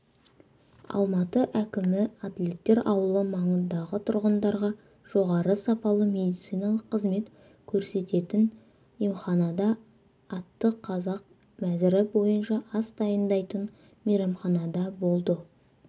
алматы әкімі атлеттер ауылы маңындағы тұрғындарға жоғары сапалы медициналық қызмет көрсететін емханада атты қазақ мәзірі бойынша ас дайындайтын мейрамханада болды